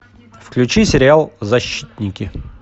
включи сериал защитники